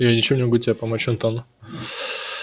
я ничем не могу тебе помочь антон